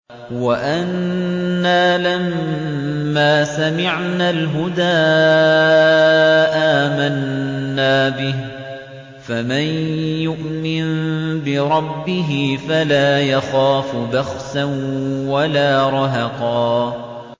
وَأَنَّا لَمَّا سَمِعْنَا الْهُدَىٰ آمَنَّا بِهِ ۖ فَمَن يُؤْمِن بِرَبِّهِ فَلَا يَخَافُ بَخْسًا وَلَا رَهَقًا